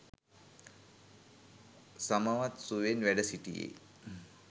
සමවත් සුවයෙන් වැඩ සිටියේ